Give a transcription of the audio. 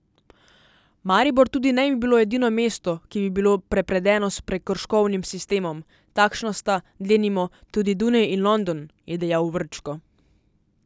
Maribor tudi ne bi bilo edino mesto, ki bi bilo prepredeno s prekrškovnim sistemom, takšna sta, denimo, tudi Dunaj in London, je dejal Vrčko.